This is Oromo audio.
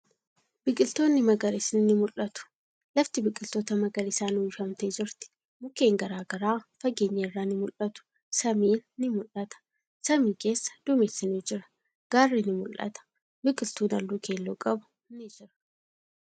Biqiltootni magariisni ni mul'atu. Lafti biqiltoota magariisan uwwifamtee jirti. Mukkeen garagaraa fageenya irraa ni mul'atu. Samiin ni mul'ata. Samii keessa duumessi ni jira. Gaarri ni mul'ata. Biqiltuun haalluu keelloo qabu ni jira.